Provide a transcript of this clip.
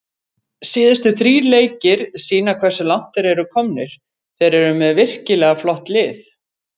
Síðustu þrír leikir sýna hversu langt þeir eru komnir, þeir eru með virkilega flott lið.